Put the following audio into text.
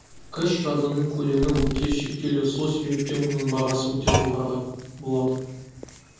кэш жадының көлемі өте шектеулі сол себептен оның бағасы өте жоғары болады